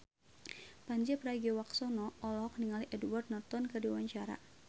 Pandji Pragiwaksono olohok ningali Edward Norton keur diwawancara